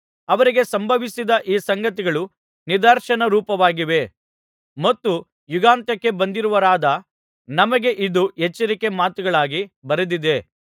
ಅವರಿಗೆ ಸಂಭವಿಸಿದ ಈ ಸಂಗತಿಗಳು ನಿದರ್ಶನರೂಪವಾಗಿವೆ ಮತ್ತು ಯುಗಾಂತ್ಯಕ್ಕೆ ಬಂದಿರುವವರಾದ ನಮಗೆ ಇದು ಎಚ್ಚರಿಕೆಯ ಮಾತುಗಳಾಗಿ ಬರೆದಿವೆ